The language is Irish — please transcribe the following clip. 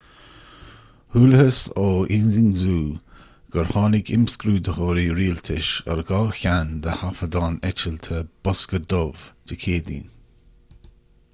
chualathas ó xinhua gur tháinig imscrúdaitheoirí rialtais ar dhá cheann de thaifeadán eitilte bosca dubh' dé céadaoin